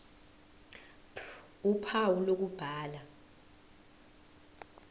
ph uphawu lokubhala